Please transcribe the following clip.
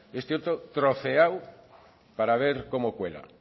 este otro troceado para ver cómo cuela